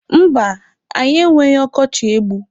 Mba, anyị enweghị ọkọchị egbu.